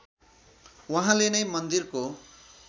उहाँले नै मन्दिरको